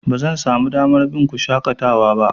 Bazan samu damar bin ku yawan shaƙatawa ba.